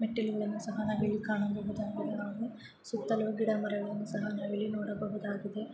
ಮೆಟ್ಟಿಲನ್ನು ಸಹ ನಾವಿಲ್ಲಿ ಕಾಣಬಹುದಾಗಿದೆ ಸುತ್ತಲೂ ಗಿಡ ಮರಗಳನ್ನು ಸಹ ನಾವಿಲ್ಲಿ ನೊಡಬಹುದಾಗಿದೆ